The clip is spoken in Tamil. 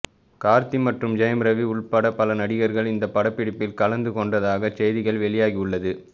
கார்த்தி மற்றும் ஜெயம் ரவி உள்பட பல நடிகர்கள் இந்த படப்பிடிப்பில் கலந்து கொண்டதாக செய்திகள் வெளியாகி உள்ளது